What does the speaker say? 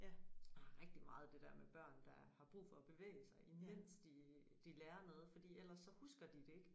Jeg har rigtig meget det der med børn der har brug for at bevæge sig mens de de lærer noget fordi ellers så husker de det ikke